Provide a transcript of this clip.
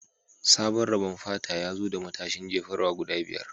Sabon rabon fata ya zo da matashin jefarwa guda biyar